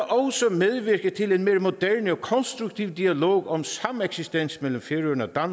medvirke til en mere moderne og konstruktiv dialog om sameksistens mellem færøerne og